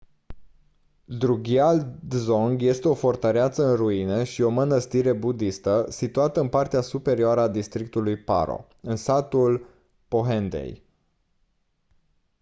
drukgyal dzong este o fortăreață în ruine și o mânăstire budistă situată în partea superioară a districtului paro în satul phondey